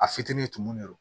A fitinin tumu de don